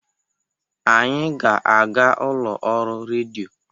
Anyị ga-aga ụlọ ọrụ redio.